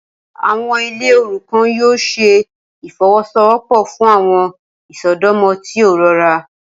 Awọn ile orukan yoo ṣe ifowosowopo fun awọn isọdọmọ ti o rọra.